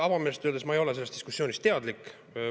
Avameelselt öeldes, ma ei ole sellest diskussioonist teadlik.